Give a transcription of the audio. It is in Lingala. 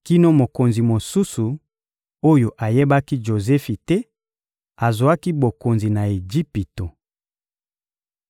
kino mokonzi mosusu, oyo ayebaki Jozefi te, azwaki bokonzi na Ejipito.